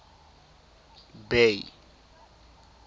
bay